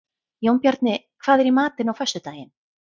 Jónbjarni, hvað er í matinn á föstudaginn?